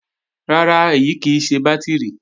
Rárá, èyí kì í ṣe bátìrì